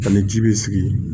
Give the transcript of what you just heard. Ani ji bɛ sigi